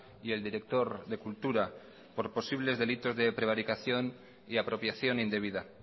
y el director de cultura por posibles delitos de prevaricación y apropiación indebida